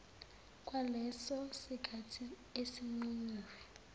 kwaleso sikhathi esinqunyiwe